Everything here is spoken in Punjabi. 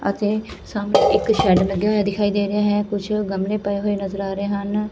ਅਤੇ ਸਾਹਮਣੇ ਇੱਕ ਸ਼ੈਡ ਲੱਗਿਆ ਹੋਇਆ ਦਿਖਾਈ ਦੇ ਰਿਹਾ ਹੈ ਕੁਝ ਗਮਲੇ ਪਏ ਹੋਏ ਨਜ਼ਰ ਆ ਰਹੇ ਹਨ।